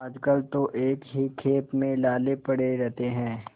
आजकल तो एक ही खेप में लाले पड़े रहते हैं